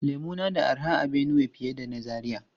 Lemu na da arha a Benue fiye da na Zaria.